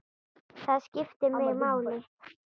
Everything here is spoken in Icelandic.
Það skiptir mig máli.